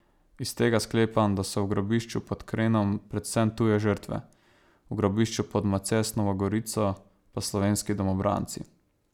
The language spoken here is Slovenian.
Iz tega sklepam, da so v grobišču pod Krenom predvsem tuje žrtve, v grobišču pod Macesnovo Gorico pa slovenski domobranci.